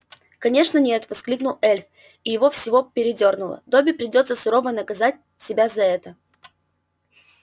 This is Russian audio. конечно нет воскликнул эльф и его всего передёрнуло добби придётся сурово наказать себя за это